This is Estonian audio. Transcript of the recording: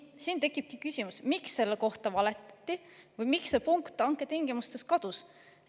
Siin tekibki küsimus, miks selle kohta valetati või miks see punkt hanketingimustest kadus.